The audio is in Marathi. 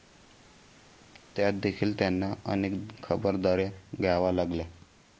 त्यातदेखील त्यांना अनेक खबरदाऱ्या घ्याव्या लागल्या.